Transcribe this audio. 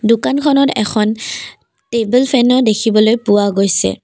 দোকানখনত এখন টেবুল ফেনো দেখিবলৈ পোৱা গৈছে।